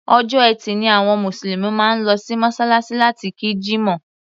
Ọjọ́ Ẹtì ni àwọn Mùsùlùmí máa ń lọ sí Mọ́ṣáláṣí láti kí Jímọ̀.